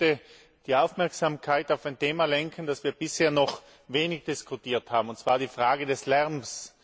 Ich möchte die Aufmerksamkeit auf ein Thema lenken, das wir bisher noch wenig diskutiert haben, und zwar die Frage des Lärms.